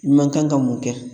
I man kan ka mun kɛ